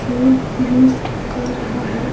Phone use कर रहा है।